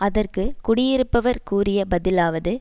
அதற்கு குடியிருப்பவர் கூறிய பதிலாவது